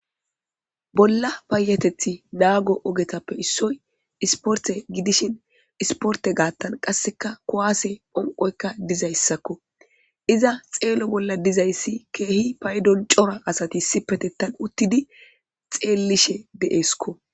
Bolla payatethi naago ogetappe issoy isporte gidishin isporte gaattan qasseka kowaase phonqoyka dizayssakko iza xeelo bolla dizayssi keehi paydon cora asati issipetettan uttidi xeellishe de7eskko.